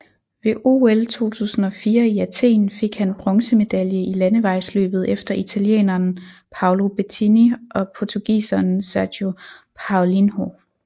Ved OL 2004 i Athen fik han bronzemedalje i landevejsløbet efter italieneren Paolo Bettini og portugiseren Sergio Paulinho